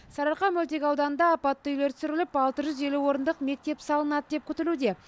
сарыарқа мөлтек ауданында апатты үйлер сүріліп алты жүз елу орындық мектеп салынады деп күтілуде